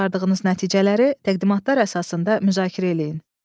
Çıxardığınız nəticələri təqdimatlar əsasında müzakirə eləyin.